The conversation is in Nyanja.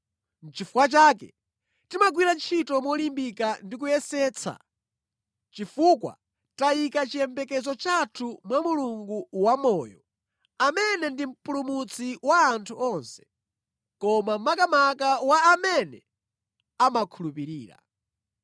Nʼchifukwa chake timagwira ntchito molimbika ndi kuyesetsa, chifukwa tayika chiyembekezo chathu mwa Mulungu wamoyo, amene ndi Mpulumutsi wa anthu onse, koma makamaka wa amene amakhulupirira.